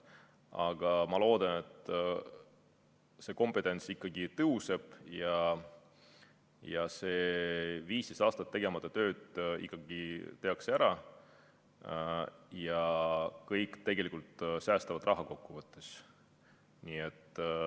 Aga ma loodan, et see kompetents ikkagi kasvab, 15 aastat tegemata tööd tehakse ära ja kõik kokkuvõttes säästavad raha.